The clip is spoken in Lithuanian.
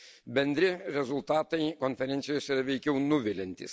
Bendri rezultatai konferencijoje veikiau nuviliantys.